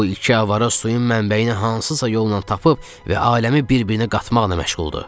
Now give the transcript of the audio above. Bu iki avara suyun mənbəyini hansısa yolla tapıb və aləmi bir-birinə qatmaqla məşğuldur.